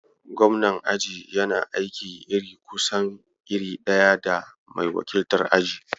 Gobnan aji yana aiki iri kusan iri ɗaya da mai wakiltar aji.